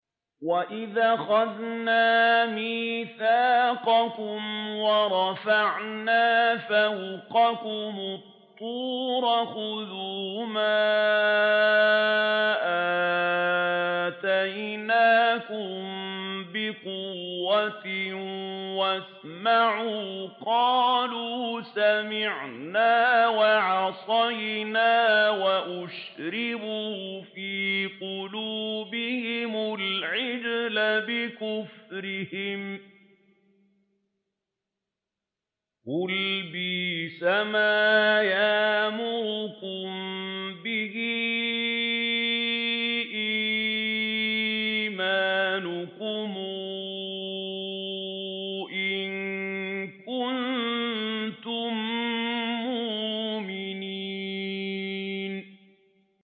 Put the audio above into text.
وَإِذْ أَخَذْنَا مِيثَاقَكُمْ وَرَفَعْنَا فَوْقَكُمُ الطُّورَ خُذُوا مَا آتَيْنَاكُم بِقُوَّةٍ وَاسْمَعُوا ۖ قَالُوا سَمِعْنَا وَعَصَيْنَا وَأُشْرِبُوا فِي قُلُوبِهِمُ الْعِجْلَ بِكُفْرِهِمْ ۚ قُلْ بِئْسَمَا يَأْمُرُكُم بِهِ إِيمَانُكُمْ إِن كُنتُم مُّؤْمِنِينَ